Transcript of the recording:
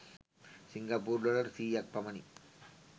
සිංගප්පූරු dollar සියයක් පමණි.